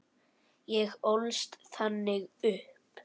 Ég ólst þannig upp.